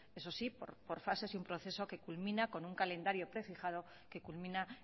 eso sí por fases y un proceso que culmina con un calendario prefijado que culmina